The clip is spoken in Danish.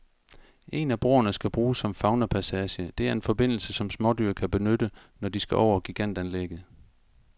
En af broerne skal bruges som faunapassage, det er en forbindelse, som smådyr kan benytte, når de skal over gigantanlægget.